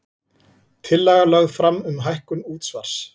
Tillaga lögð fram um hækkun útsvars